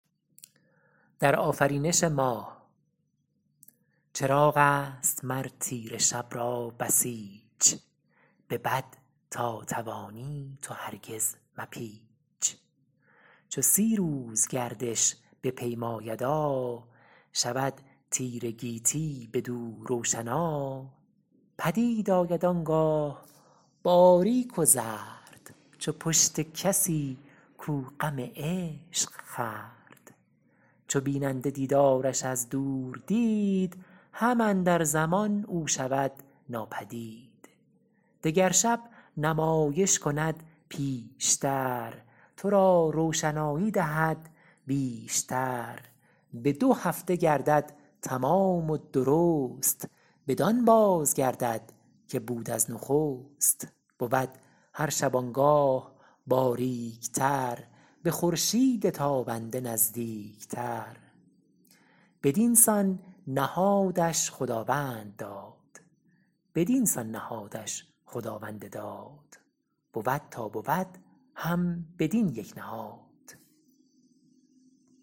چراغ است مر تیره شب را بسیچ به بد تا توانی تو هرگز مپیچ چو سی روز گردش بپیمایدا شود تیره گیتی بدو روشنا پدید آید آنگاه باریک و زرد چو پشت کسی کو غم عشق خورد چو بیننده دیدارش از دور دید هم اندر زمان او شود ناپدید دگر شب نمایش کند بیش تر تو را روشنایی دهد بیش تر به دو هفته گردد تمام و درست بدان باز گردد که بود از نخست بود هر شبانگاه باریک تر به خورشید تابنده نزدیک تر بدینسان نهادش خداوند داد بود تا بود هم بدین یک نهاد